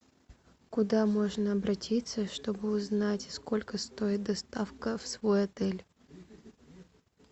куда можно обратиться что бы узнать сколько стоит доставка в свой отель